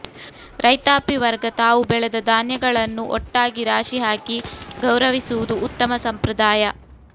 ರೈತಾಪಿ ವರ್ಗ ತಾವು ಬೆಳೆದ ಧಾನ್ಯಗಳನ್ನು ಒಟ್ಟಾಗಿ ರಾಶಿ ಹಾಕಿ ಗೌರವಿಸುವುದು ಉತ್ತಮ ಸಂಪ್ರದಾಯ